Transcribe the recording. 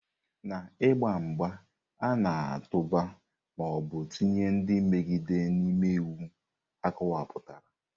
N'ịgba mgba, ị na-atụba ma ọ bụ tinye ndị mmegide n'ime iwu akọwapụtara.